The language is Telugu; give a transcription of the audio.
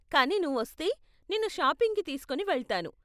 కానీ నువ్వు వస్తే, నిన్ను షాపింగ్కి తీస్కోని వెళ్తాను.